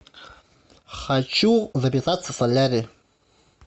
хочу записаться в солярий